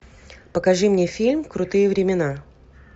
покажи мне фильм крутые времена